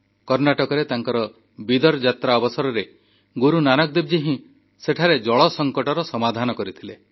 କର୍ଣ୍ଣାଟକରେ ତାଙ୍କ ବିଦର୍ ଯାତ୍ରା ଅବସରରେ ଗୁରୁ ନାନକ ଦେବଜୀ ହିଁ ସେଠାରେ ଜଳ ସଙ୍କଟର ସମାଧାନ କରିଥିଲେ